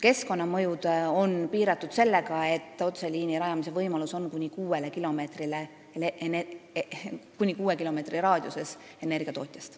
Keskkonnamõjud on aga piiratud sellega, et otseliini võib rajada kuni kuue kilomeetri raadiuses energiatootjast.